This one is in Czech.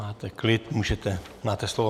Máte klid, můžete... máte slovo.